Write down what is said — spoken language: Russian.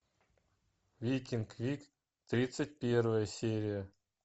викинг вик тридцать первая серия